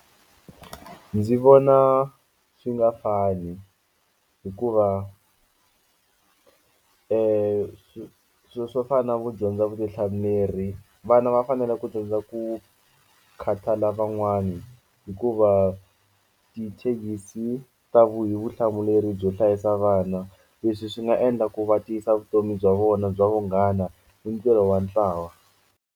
Ndzi vona swi nga fani hikuva sweswo swo fana na ku dyondza vutihlamuleri vana va fanele ku dyondza ku khathalela lavan'wani hikuva ta vuyi vutihlamuleri byo hlayisa vana leswi swi nga endla ku va tiyisa vutomi bya vona bya vunghana ni ntirho wa ntlawa.